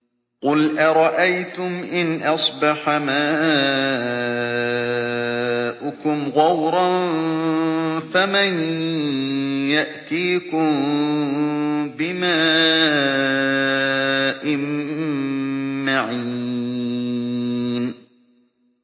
قُلْ أَرَأَيْتُمْ إِنْ أَصْبَحَ مَاؤُكُمْ غَوْرًا فَمَن يَأْتِيكُم بِمَاءٍ مَّعِينٍ